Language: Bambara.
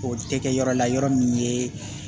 O tɛ kɛ yɔrɔ la yɔrɔ min ye